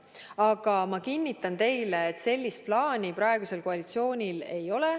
Aga ma kinnitan teile, et sellist plaani praegusel koalitsioonil ei ole.